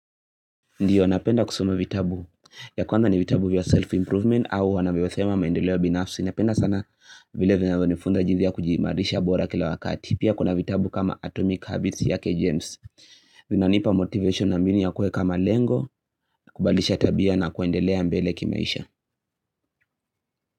Ndiyo, napenda kusoma vitabu, ya kwanza ni vitabu vya self-improvement au wanavyosema maendelea binafsi. Napenda sana vile vinavyo nifunza nifunza jithi kujimarisha bora kila wakati. Pia kuna vitabu kama atomic habits yake James. Vinanipa motivation na mbinu ya kua kama lengo, kubadilisha tabia na kuendelea mbele kimaisha.